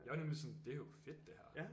Jeg er nemlig sådan det er jo fedt det her